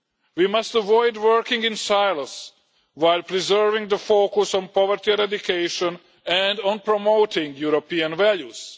We must avoid working in silos, while preserving the focus on poverty eradication and on promoting European values.